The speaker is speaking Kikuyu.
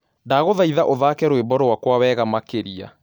Ndagũthaĩthaũthake rwĩmbo rwakwa wega makĩrĩa